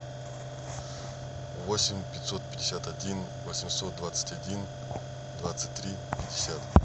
восемь пятьсот пятьдесят один восемьсот двадцать один двадцать три пятьдесят